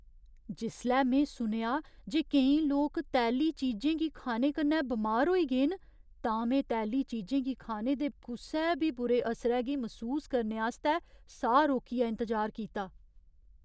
जिसलै में सुनेआ जे केईं लोक तैली चीजें गी खाने कन्नै बमार होई गे न, तां में तैली चीजें गी खाने दे कुसै बी बुरे असरै गी मसूस करने आस्तै साह् रोकियै इंतजार कीता।